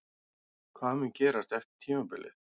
Hvað mun gerast eftir tímabilið?